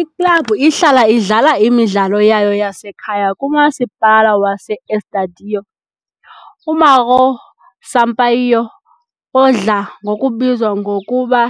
Iklabhu ihlala idlala imidlalo yayo yasekhaya kuMasipala wase-Estádio uMauro Sampaio, odla ngokubizwa ngokuba